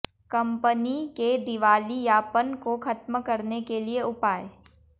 company के दिवालियापन को खत्म करने के लिए उपाय